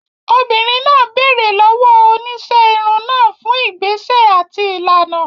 Obìnrin náà béèrè lọ́wọ́ oníṣẹ́ irun náà fún ìgbésẹ̀ àti ìlànà.